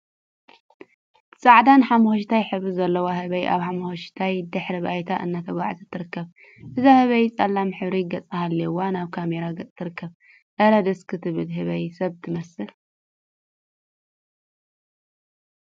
ጻዕዳን ሓመኩሽታይ ሕብሪ ዘለዋ ህበይ ኣብ ሓመኩሽታይ ድሕረ ባይታ እናተጉዓዘት ትርከብ። እዛ ህበይ ጸሊም ሕብሪ ገጽ ሃልይዋ ናብ ካሜራ ገጻ ትርከብ። ኣረ! ደስ ክትብል ህበይ ሰብ ትመስል።